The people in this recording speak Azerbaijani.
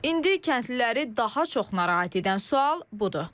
İndi kəndliləri daha çox narahat edən sual budur.